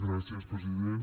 gràcies president